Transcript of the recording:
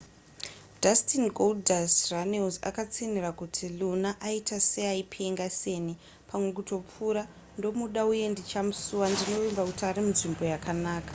dustin goldust runnels akatsinhira kuti luna aita seaipenga senipamwe kutopfuurandomuda uye ndichamusuwandinovimba kuti ari munzvimbo yakanaka.